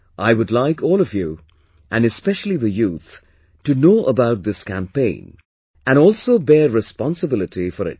I would like all of you, and especially the youth, to know about this campaign and also bear responsibility for it